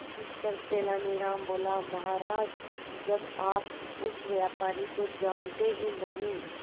इस पर तेनालीराम बोला महाराज जब आप उस व्यापारी को जानते ही नहीं